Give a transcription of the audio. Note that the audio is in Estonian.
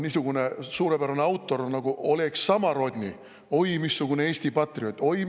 Niisugune suurepärane autor nagu Oleg Samorodni – oi, missugune Eesti patrioot!